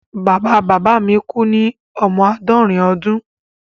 Bàbá bàbá mi kú ní ọmọ àádọ́rin ọdún.